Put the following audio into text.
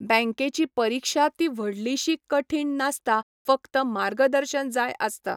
बँकेची परिक्षा ती व्हडलीशी कठीण नासता फकत मार्गदर्शन जाय आसता.